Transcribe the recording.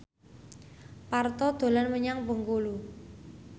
Parto dolan menyang Bengkulu